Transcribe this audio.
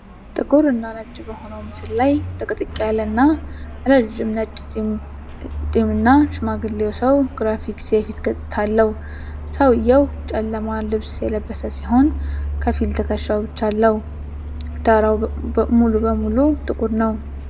ጥቁር እና ነጭ በሆነው ምስል ላይ ጥቅጥቅ ያለና ረጅም ነጭ ጢምና ሽማግሌው ሰው ግራፊክ የፊት ገጽታ አለው። ሰውየው ጨለማ ልብስ የለበሰ ሲሆን፣ ከፊል ትከሻው ብቻ አለው። ዳራው ሙሉ በሙሉ ጥቁር ነው።